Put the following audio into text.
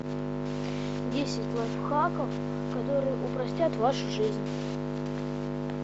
десять лайфхаков которые упростят вашу жизнь